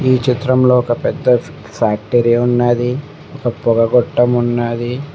ఈ చిత్రంలో ఒక పెద్ద ఫ్యాక్టరీ ఉన్నాది ఒక పొగ గొట్టం ఉన్నాది.